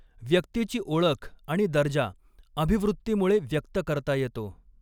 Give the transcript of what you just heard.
व्यक्तीची ओळख आणि दर्जा अभिवृत्तीमुळे व्यक्त करता येतो.